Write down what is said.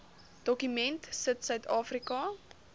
dokument sit suidafrika